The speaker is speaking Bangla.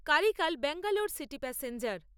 Karaikal Bangalore city passenger